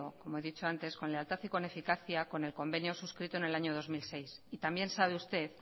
como he dicho antes con lealtad y con eficacia con el convenio suscrito en el año dos mil seis y también sabe usted